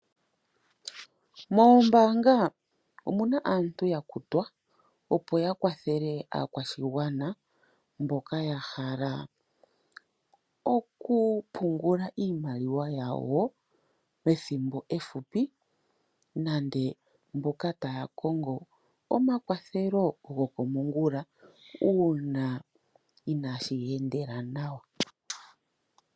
Mombaanga omuna aantu yakutwa opo ya wathele aakwashigwana mboka ya hala oku pungula iimaliwa yawo methimbo efupi, nande mboka taya kongo omakwathelo gokomongula uuna inaashi ya endela nawa.